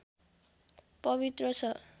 पवित्र छ